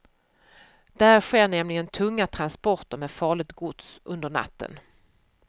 Där sker nämligen tunga transporter med farligt gods under natten.